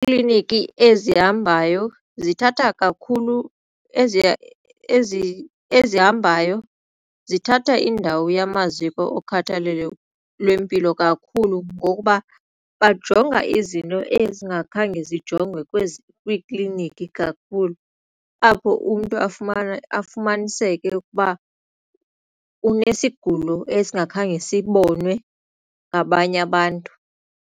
Iikliniki ezihambayo zithatha kakhulu ezihambayo zithatha indawo yamaziko okhathalelo lwempilo kakhulu ngokuba bajonga izinto ezingakhange zijongwe kwiiklinikhi kakhulu apho umntu afumaniseke ukuba unesigulo esingakhange sibonwe ngabanye abantu.